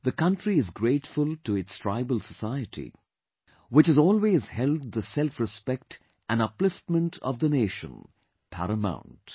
The country is grateful to its tribal society, which has always held the selfrespect and upliftment of the nation paramount